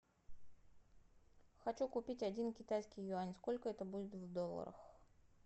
хочу купить один китайский юань сколько это будет в долларах